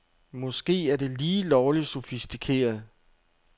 Måske er det lige lovligt sofistikeret.